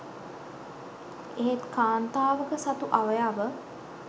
එහෙත් කාන්තාවක සතු අවයව